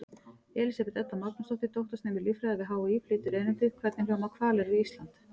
Elísabet Edda Magnúsdóttir, doktorsnemi í líffræði við HÍ, flytur erindið: Hvernig hljóma hvalir við Ísland?